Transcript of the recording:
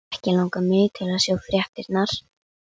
Ekki langar mig til að sjá fréttirnar.